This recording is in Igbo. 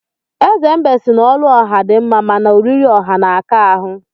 Eze mbe si na olu ọha dị mma, mana oriri ọha na-aka ahụ